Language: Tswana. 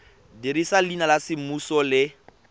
dirisa leina la semmuso le